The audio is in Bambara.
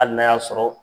Hali n'a y'a sɔrɔ